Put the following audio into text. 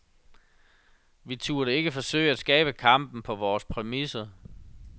Vi turde ikke forsøge at skabe kampen på vore præmisser.